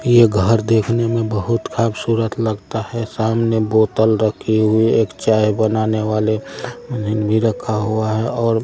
ये घर देखने में बहुत खुबसूरत लगता है सामने बोतल रखी हुई एक चाय बनाने वाली रखा है और --